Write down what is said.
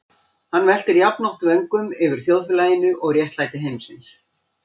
Hann veltir jafnoft vöngum yfir þjóðfélaginu og réttlæti heimsins.